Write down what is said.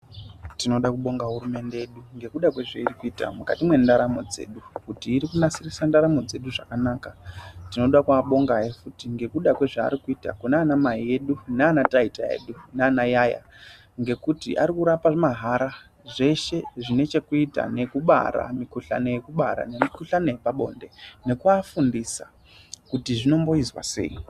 Tinoda kubonga hurumende yedu ngekuda kwezvairikuita mukati mwendaramo dzedu kuti iri kunasirisa ndaramo dzedu zvakanaka, tinoda kuwabonga hee futhi ngekuda kwezvaari kuita kuna anamai edu naana taita edu na ana ayaya ngekuti ari kurapa mahara zveshe zvine chekuita nekubara mikhuhlani yekubara nemikhuhlani yepabonde, nekuwafundisa kuti zvinomboizwa sei.